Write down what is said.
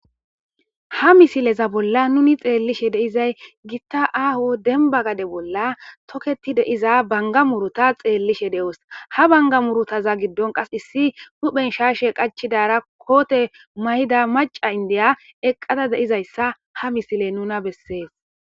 Ha misileza bolla nuni xeellishe deizay gitta aaho denba gade bolla toketi deiza banga muruta xeellishe de7os ha banga murutaza giddon qas issi huhphen shaashe qachidara koote may7ida maca indeya eqqada deizayssa ha misile nuna bessees